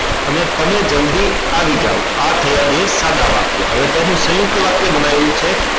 અને તમે જલ્દી આવી જાવ આ થયા બે સાદા વાક્ય હવે તેનું સયુંકત વાક્ય બનાવ્યું છે